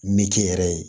Min kɛ yɛrɛ ye